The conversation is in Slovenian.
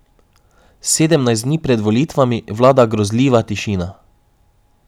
Sedemnajst dni pred volitvami vlada grozljiva tišina.